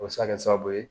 O bɛ se ka kɛ sababu ye